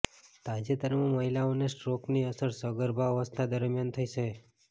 તાજેતરમાં મહિલાઓને સ્ટ્રોકની અસર સગર્ભા અવસ્થા દરમિયાન થઈ છે